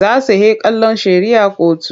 Za su he kallon shari'ah kotu.